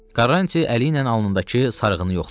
Karanç əli ilə alnındakı sarığını yoxladı.